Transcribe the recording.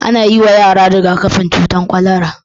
An yiwa yara riga-kafin cutar kwalara.